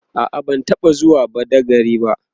a'a ban taɓa zuwa badagry ba